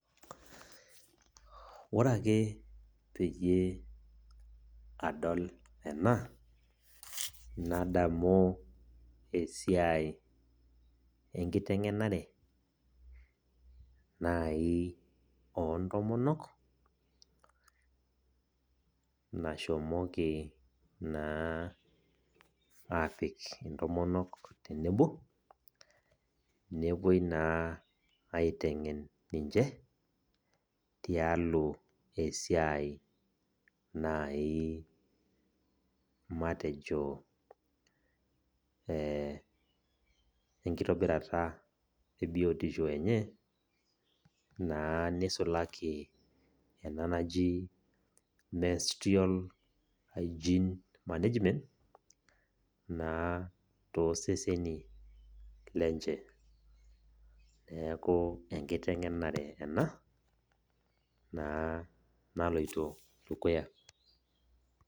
Ore ake peyie adol ena, nadamu esiai enkiteng'enare nai ontomonok, nashomoki naa apik intomonok tenebo, nepoi naa aiteng'en ninche, tialo esiai nai matejo enkitobirata ebiotisho enye, naa nisulaki ena naji menstrual hygiene management, naa toseseni lenche. Neeku enkiteng'enare ena, naa naloito dukuya.